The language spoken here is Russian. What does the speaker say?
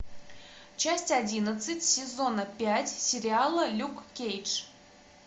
часть одиннадцать сезона пять сериала люк кейдж